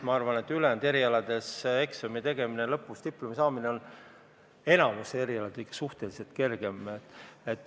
Ma arvan, et enamikul ülejäänud erialadel eksamite tegemine ja lõpuks diplomi saamine on suhteliselt kergem.